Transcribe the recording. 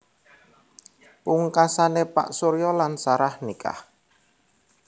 Pungkasané Pak Surya lan Sarah nikah